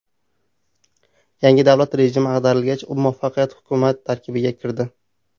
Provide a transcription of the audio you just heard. Yangi davlat rejimi ag‘darilgach, u muvaqqat hukumat tarkibiga kirdi.